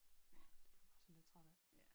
Ja det bliver man også sådan lidt træt af